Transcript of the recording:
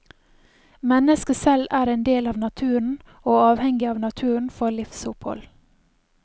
Mennesket selv er en del av naturen og avhengig av naturen for livsopphold.